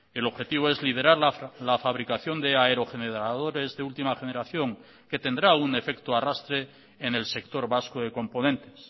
el objetivo es liderar la fabricación de aerogeneradores de última generación que tendrá un efecto arrastre en el sector vasco de componentes